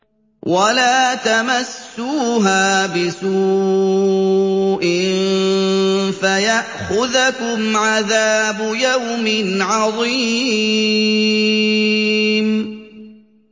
وَلَا تَمَسُّوهَا بِسُوءٍ فَيَأْخُذَكُمْ عَذَابُ يَوْمٍ عَظِيمٍ